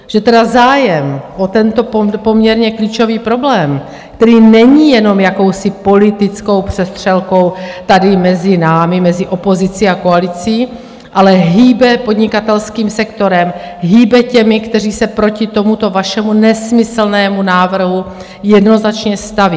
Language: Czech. Že tedy zájem o tento poměrně klíčový problém, který není jenom jakousi politickou přestřelkou tady mezi námi, mezi opozicí a koalicí, ale hýbe podnikatelským sektorem, hýbe těmi, kteří se proti tomuto vašemu nesmyslnému návrhu jednoznačně staví.